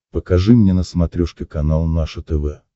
покажи мне на смотрешке канал наше тв